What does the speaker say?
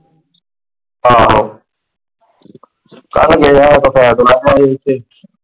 ਆਹੋ ,